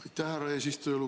Aitäh, härra eesistuja!